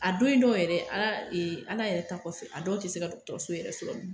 A den dɔw yɛrɛ Ala yɛrɛ ta kɔfɛ a dɔw tɛ se ka dɔgɔtɔrɔso yɛrɛ sɔrɔ